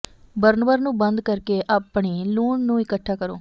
burner ਨੂੰ ਬੰਦ ਕਰਕੇ ਆਪਣੇ ਲੂਣ ਨੂੰ ਇਕੱਠਾ ਕਰੋ